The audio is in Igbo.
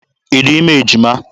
Ị dị ime ejima?